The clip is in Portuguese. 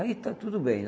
Aí tá tudo bem.